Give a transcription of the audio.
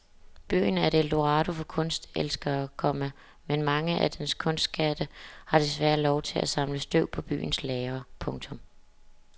Byen er et eldorado for kunstelskere, komma men mange af dens kunstskatte får desværre lov til at samle støv på byens lagre. punktum